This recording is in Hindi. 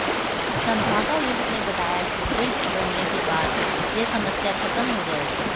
संभागायुक्त ने बताया कि ब्रिज बनने के बाद यह समस्या खत्म हो जाएगी